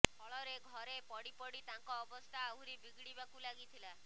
ଫଳରେ ଘରେ ପଡ଼ିପଡ଼ି ତାଙ୍କ ଅବସ୍ଥା ଆହୁରି ବିଗିଡ଼ିବାକୁ ଲାଗିଥିଲା